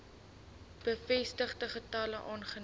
bevestigde gevalle aangebied